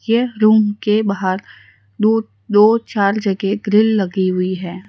यह रूम के बाहर दो दो चार जगह ग्रिल लगी हुई है।